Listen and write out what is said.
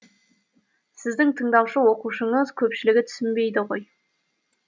сіздің тыңдаушы оқушыңыз көпшілігі түсінбейді ғой